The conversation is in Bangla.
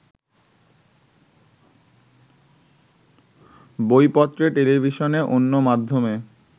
বইপত্রে টেলিভিশনে অন্য মাধ্যমে